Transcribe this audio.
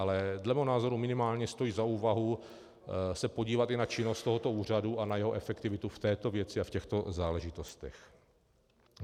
Ale dle mého názoru minimálně stojí za úvahu se podívat i na činnost tohoto úřadu a na jeho efektivitu v této věci a v těchto záležitostech.